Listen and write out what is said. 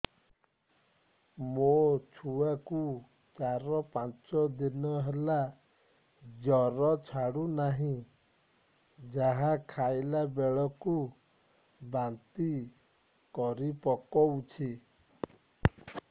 ମୋ ଛୁଆ କୁ ଚାର ପାଞ୍ଚ ଦିନ ହେଲା ଜର ଛାଡୁ ନାହିଁ ଯାହା ଖାଇଲା ବେଳକୁ ବାନ୍ତି କରି ପକଉଛି